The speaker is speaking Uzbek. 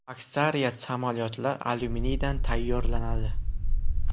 Aksariyat samolyotlar alyuminiydan tayyorlanadi.